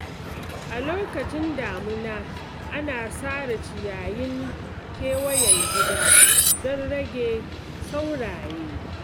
A lokacin damuna ana sare ciyayin kewayen gida don rage sauraye,